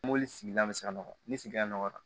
Mobili sigila bɛ se ka nɔgɔ ni sigida nɔgɔya